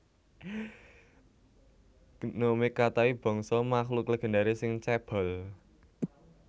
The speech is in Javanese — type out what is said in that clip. Gnome Katai bangsa makhluk legendaris sing cébol